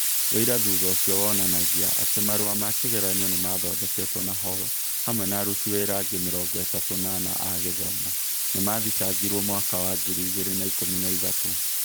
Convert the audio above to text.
Ũira thutha ũcio wonanagia atĩ marũa ma kĩgeranio nĩ maathondeketwo na Hall, hamwe na aruti wĩra angĩ mĩrongo ĩtatũ na ana a gĩthomo, nĩ maathitangirũo mwaka wa ngiri igĩrĩ na ikũmi na ithatũ.